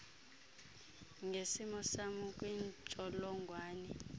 ngesimo sam kwintsholongwane